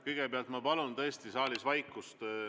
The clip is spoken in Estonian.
Kõigepealt ma palun tõesti saalis vaikust.